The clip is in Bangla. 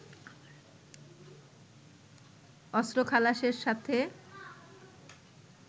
অস্ত্র খালাসের সাথে